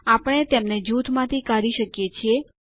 આપણે તેમને જૂથ માંથી કાઢી શકીએ છીએ